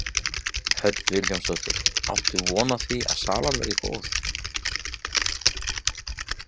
Hödd Vilhjálmsdóttir: Áttu von á því að salan verði góð?